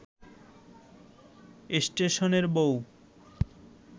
স্টেশনের বউ